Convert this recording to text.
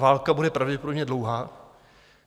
Válka bude pravděpodobně dlouhá.